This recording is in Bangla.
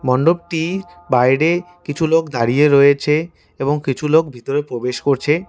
মন্ডপটির বাইরে কিছু লোক দাঁড়িয়ে রয়েছে এবং কিছু লোক ভিতরে প্রবেশ করছে।